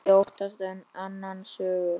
Ég óttast annan söng.